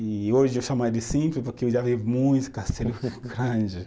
E hoje eu chamo ela de simples porque eu já vi muitos castelos grandes.